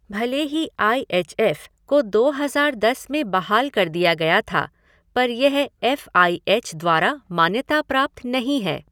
भले ही I H F को दो हज़ार दस में बहाल कर दिया गया था, पर यह एफ़ आई एच द्वारा मान्यता प्राप्त नहीं है।